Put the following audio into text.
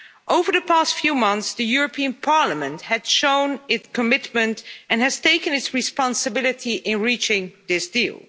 Over the past few months, the European Parliament has shown its commitment and has taken its responsibility in reaching this deal.